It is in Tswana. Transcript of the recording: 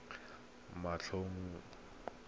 ya go a le matlhano